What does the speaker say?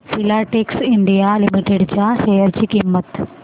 Filatex India limited च्या share ची किंमत